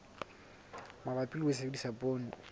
mabapi le ho sebedisa poone